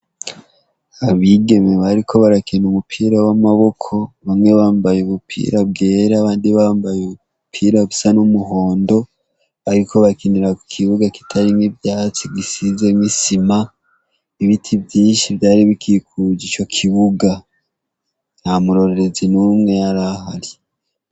Abigeme bariko barakina umupira wamaboko bamwe bambaye ubupira bwera abandi bambaye ubupira busa numuhondo bariko bakinira kukibuga kitarimwo ivyatsi gisimwo Isima ibiti vyinshi vyari bikikuje ico ikibuga ntamurorerezi numwe yari ahari .